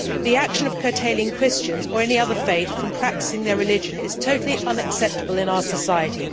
The action of curtailing Christians, or any other faith, in the practice of their religion is totally unacceptable in our society.